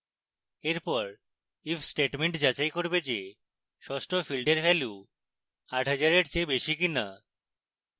এরপর if statement যাচাই করবে যে ষষ্ট ফীল্ডের value 8000 এর চেয়ে বেশি কিনা